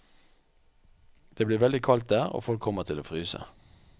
Det blir veldig kaldt der, og folk kommer til å fryse.